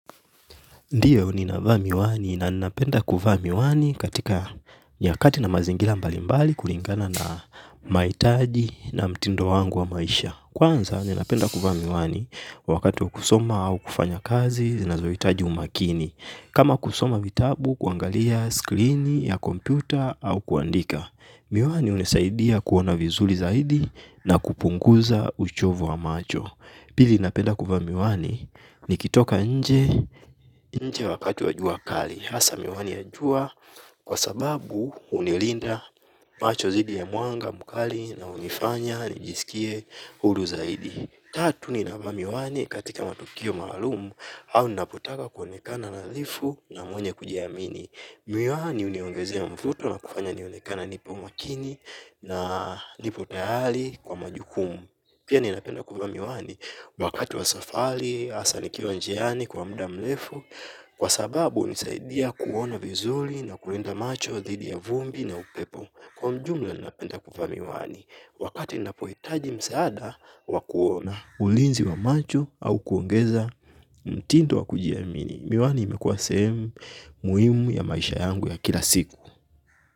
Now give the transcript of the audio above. Ndiyo ninavaa miwani na ninapenda kuvaa miwani katika nyakati na mazingira mbalimbali kulingana na mahitaji na mtindo wangu wa maisha. Kwanza nina penda kuvaa miwani wakati wa kusoma au kufanya kazi na zinazohitaji umakini. Kama kusoma vitabu kuangalia screen ya kompyuta au kuandika. Miwani hunisaidia kuona vizuri zaidi na kupunguza uchovu wa macho. Pili napenda kuvaa miwani nikitoka nje wakati wa jua kali. Hasa miwani ya jua kwa sababu hunilinda macho dhidhi ya mwanga mkali na hunifanya nijisikie huru zaidi. Tatu ninavaa miwani katika matukio maalum au ninapotaka kuonekana nadhifu na mwenye kujiamini. Miwani huniongezea mvuto na kufanya nionekana nipo makini na nipo tayari kwa majukumu pia ninapenda kuvaa miwani wakati wa safari hasa nikiwa njiani hasa kwa muda mrefu. Kwa sababu hunisaidia kuona vizuri na kulinda macho, dhidhi ya vumbi na upepo. Kwa ujumla napenda kuvaa miwani wakati ninapo hitaji msaada wa kuona ulinzi wa macho au kuongeza mtindo wa kujiamini. Miwani imekuwa sehemu muhimu ya maisha yangu ya kila siku.